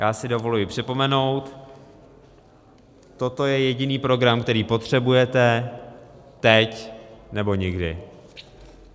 Já si dovoluji připomenout - toto je jediný program, který potřebujete, teď, nebo nikdy.